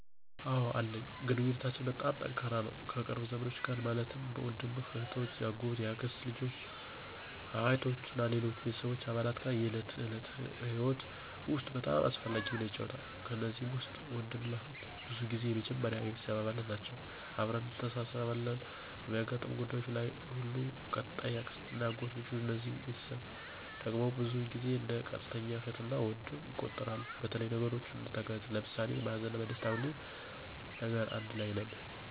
አወ አለኝ ግንኙነታችን በጣም ጠንካራ ነው ከቅርብ ዘመዶች ጋር ማለትም ወንድምና እህቶች፣ የአጎት፣ የአክስት ልጆች አ፣ አያቶች እና ከሌሎች ቤተሰብ አባላት ጋር የዕለት ከዕለት ህይወት ውስጥ በጣም አስፈላጊ ሚና ይጫወታሉ። ከነዚህ ውስጥ ወንድምና እህት ብዙ ጊዜ የመጀመሪያ የቤተሰብ አባል ናቸወ አብረን እንተሳስብ አለን በሚያጋጥሙን ጉዳዩች ለይ ሁሉ። ቀጣይ የአክስትና የአጎት ልጆች እነዚህ ቤተስቦቸ ድግም ብዙውን ጊዜው እንደ ቀጥተኛ እህት እና ወንድም ይቆጠራሉ በተለያዩ ነገሮች እንተጋገዛለን ለምሳሌ በሀዘንና በደስታ ሁሌም ነገር አንድ ለይ ነን።